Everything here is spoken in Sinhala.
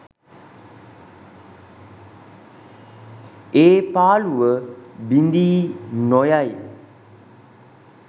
ඒ පාළුව බිඳී නොයයි